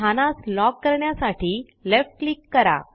स्थानास lock करण्यासाठी left click करा